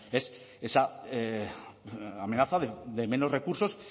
esa amenaza de menos recursos